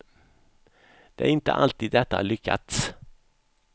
Det är inte alltid detta lyckats.